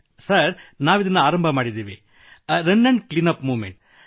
sir ನಾವಿದನ್ನು ಆರಂಭಿಸಿದೆವು run cleanup movement